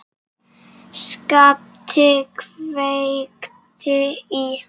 SKAPTI KVEIKTI Í